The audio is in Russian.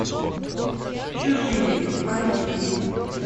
чужие айч ди